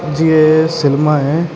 ਜੀ ਇਹ ਸਿਨਮਾ ਹੈ।